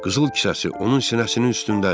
Qızıl kisəsi onun sinəsinin üstündədir.